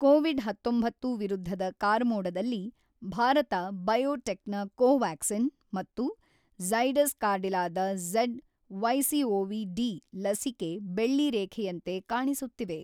Covid ೧೯ ವಿರುದ್ಧದ ಕಾರ್ಮೋಡದಲ್ಲಿ Bharat biotech ನ ಕೊವ್ಯಾಕ್ಸಿನ್ ಮತ್ತು ಝೈಡಸ್ ಕಾರ್ಡಿಲಾದ ಝಡ್ ವೈಸಿಒವಿ ಡಿ ಲಸಿಕೆ ಬೆಳ್ಳಿರೇಖೆಯಂತೆ ಕಾಣಿಸುತ್ತಿವೆ.